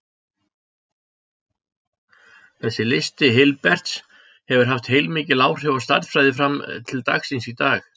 Þessi listi Hilberts hefur haft heilmikil áhrif á stærðfræði fram til dagsins í dag.